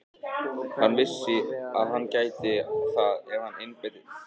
Hann vissi að hann gæti það ef hann einbeitti sér að því.